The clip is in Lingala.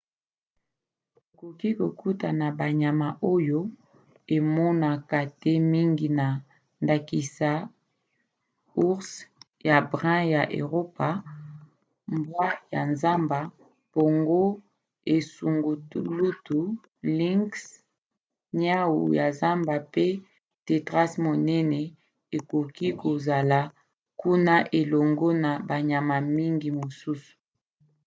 tokoki kokuta banyama oyo emonaka te mingi na ndakisa ours ya brun ya eropa mbwa ya zamba mpongo esungulutu lynx niau ya zamba pe tétras monene ekoki kozola kuna elongo na banyama mngi mosusu